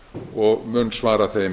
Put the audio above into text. og mun svara þeim